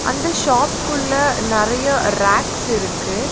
அந்த ஷாப்க்குள்ள நறய ரேக்ஸ் இருக்கு.